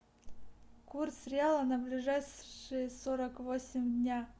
курс реала на ближайшие сорок восемь дня